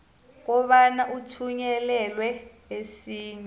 kobana uthunyelelwe esinye